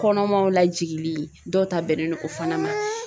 Kɔnɔmaw lajigili dɔw ta bɛnnen don o fana ma.